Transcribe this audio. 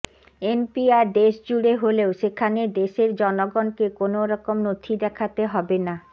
NPR দেশজুড়ে হলেও সেখানে দেশের জনগণকে কোনও রকম নথি দেখাতে হবে না